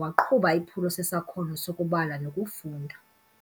waqhuba iphulo sesakhono sokubala nokufunda